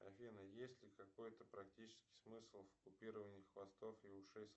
афина есть ли какой то практический смысл в купировании хвостов и ушей